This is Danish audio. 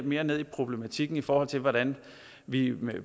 mere ned i problematikken i forhold til hvordan vi vi